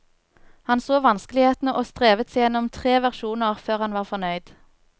Han så vanskelighetene og strevet seg gjennom tre versjoner, før han var fornøyd.